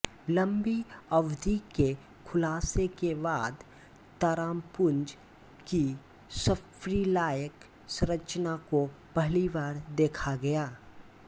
लंबी अवधि के खुलासे के बाद तारापुंज की सर्पिलाकार संरचना को पहली बार देखा गया